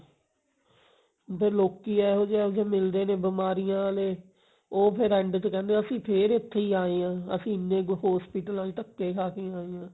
ਇੱਕ ਤਾਂ ਲੋਕੀ ਇਹੋ ਜਿਹੇ ਇਹੋ ਜਿਹੇ ਮਿਲਦੇ ਨੇ ਬਿਮਾਰੀਆਂ ਆਲੇ ਉਹ ਫੇਰ end ਚ ਕਹਿੰਦੇ ਅਸੀਂ ਫੇਰ ਉੱਥੇ ਹੀ ਆ ਜੋ ਅਸੀਂ ਇੰਨੇ ਕ hospital ਆਂ ਚ ਧੱਕੇ ਖਾ ਕੇ ਆਏ ਹਾਂ